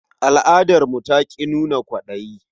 Al'adarmu ta ƙi nuna kwaɗayi.